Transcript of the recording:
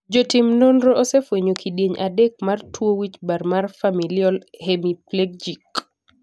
jotim nonro osefwenyo kidienje adek mar tuo wichbar mar familial hemiplegic